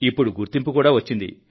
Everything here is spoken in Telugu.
ఇప్పుడు గుర్తింపు కూడా వచ్చింది